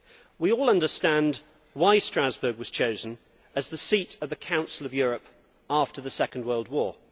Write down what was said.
We all understand why Strasbourg was chosen as the seat of the Council of Europe after the Second World War.